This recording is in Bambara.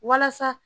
Walasa